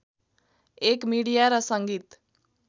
एक मिडिया र सङ्गीत